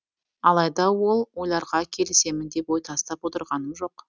алайда ол ойларға келісемін деп ой тастап отырғаным жоқ